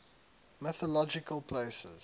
mythological places